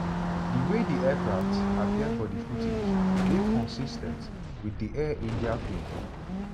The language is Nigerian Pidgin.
di way di aircraft appear for di footage dey consis ten t wit di air india plane.